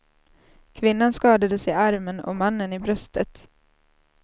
Kvinnan skadades i armen och mannen i bröstet.